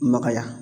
Maka ya